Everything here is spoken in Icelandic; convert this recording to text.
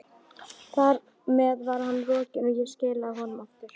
Þar með var hann rokinn, og ég skilaði honum aftur.